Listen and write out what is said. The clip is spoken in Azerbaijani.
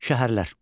Şəhərlər.